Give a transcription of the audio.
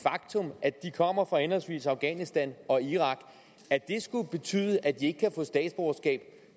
faktum at de kommer fra henholdsvis afghanistan og irak skulle betyde at de ikke kan få statsborgerskab